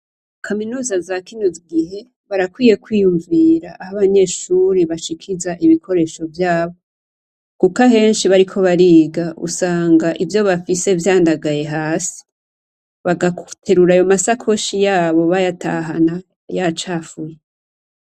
Kaminuza zakino gihe barakwiye kwiyumavira aho abanyeshure bashikiriza ibikoresho vyabo, kuko ahenshi bariko bariga ivyo bafise vyandagaye hasi, bagaterura amasakoshi yabo bayatahana yacafuye.